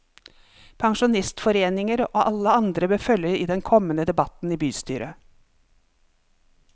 Pensjonistforeninger og alle andre bør følge den kommende debatten i bystyret.